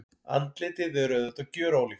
Andlitið er auðvitað gjörólíkt.